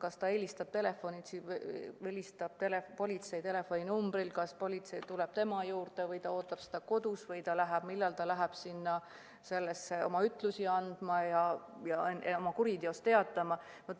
Kas ta helistab politsei telefoninumbril ja politsei tuleb tema juurde, ta ootab seda kodus, või ta läheb millalgi sinna kuriteost teatama ja ütlusi andma.